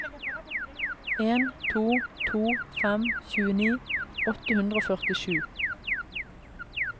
en to to fem tjueni åtte hundre og førtisju